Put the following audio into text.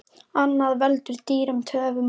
Annað veldur dýrum töfum og deilum.